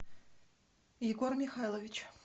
егор михайлович